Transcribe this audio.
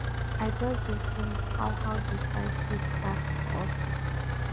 i just dey tink how how di fight take start for office